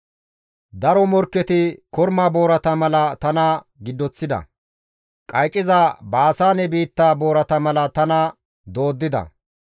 Daro morkketi korma boorata mala tana giddoththida; qayciza Baasaane biitta boorata mala tana dooddida.